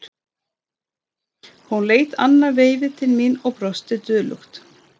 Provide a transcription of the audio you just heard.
Hún leit annað veifið til mín og brosti dulúðugt.